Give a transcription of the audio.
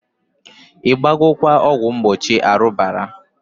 I gbagokwa ọgwụ mgbochi arubara?